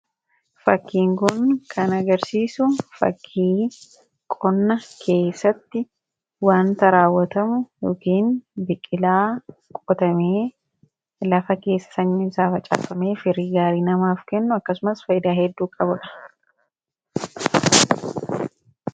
fakkiin kun kan agarsiisu fakkii qonna keessatti waanta raawwatamu yookiin biqilaa qotamee lafa keessa sanyiin isaa facaafame firii gaarii namaaf kennu akkasumas fayidaa hedduu qabudha.